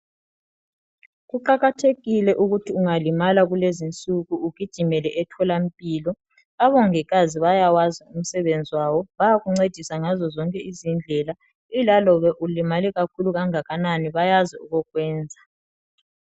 Kuqakathekile ukuthi ungalimala kulezinsuku ugijimele etholampilo abongikazi bayawazi umsebenzi wabo bayakuncedisa ngazo zonke izindlela ilalobe ulimale kakhulu kangakanani bayazi okokwenza.